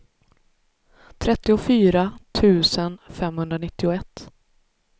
trettiofyra tusen femhundranittioett